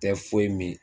Tɛ foyi min